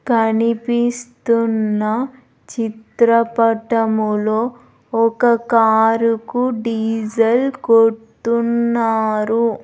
కనిపిస్తున్న చిత్రపటములో ఒక కారు కు డీజెల్ కొట్టున్నారు.